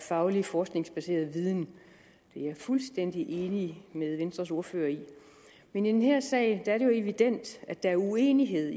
faglig forskningsbaseret viden det er jeg fuldstændig enig med venstres ordfører i men i den her sag er det jo evident at der er uenighed